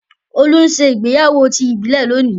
olu ǹ se ìgbéyàwó ti ìbílè lọni.